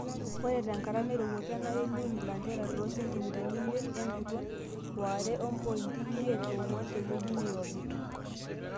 ore tenkata nairowua kenare niun ilanterera too sentimitani imiet enguton oo are o mpoiti imoiet onguan teweji neirobi